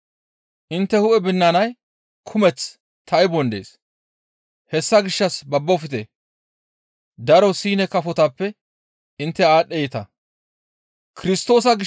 Intte hu7e binanay kumeth taybon dees; hessa gishshas babbofte; daro Siine kafotappe intte aadhdheeta.